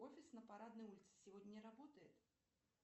офис на парадной улице сегодня не работает